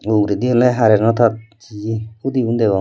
uredi eyeno hareno tar jiye hudi guno degong.